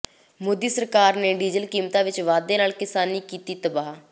ਮੋਦੀ ਸਰਕਾਰ ਨੇ ਡੀਜਲ ਕੀਮਤਾਂ ਵਿਚ ਵਾਧੇ ਨਾਲ ਕਿਸਾਨੀ ਕੀਤੀ ਤਬਾਹ